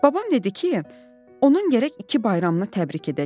Babam dedi ki, onun gərək iki bayramını təbrik edək.